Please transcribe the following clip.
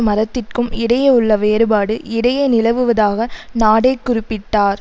மரத்திற்கும் இடையே உள்ள வேறுபாடு இடையே நிலவுவதாக நாடே குறிப்பிட்டார்